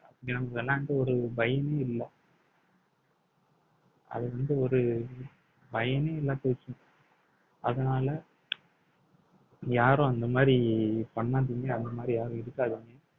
விளையாண்டு ஒரு பயனே இல்லை அது வந்து ஒரு பயனே இல்லாம போச்சு அதனால யாரும் அந்த மாதிரி பண்ணாதீங்க அந்த மாதிரி யாரும் இருக்காதீங்க